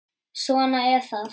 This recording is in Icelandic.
Svona er það.